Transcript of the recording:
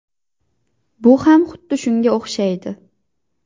Bu ham xuddi shunga o‘xshaydi.